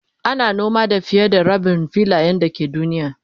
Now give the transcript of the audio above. ana noma da fiye da Rabin filayen da ke duniya